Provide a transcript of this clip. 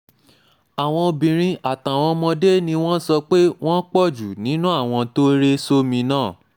àwọn obìnrin àtàwọn ọmọdé ni wọ́n sọ pé wọ́n pọ̀ jù nínú àwọn tó rẹ sómi náà